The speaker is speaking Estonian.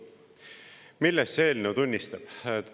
Millest see eelnõu tunnistust annab?